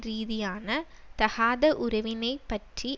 ரீதியான தகாத உறவினைப் பற்றி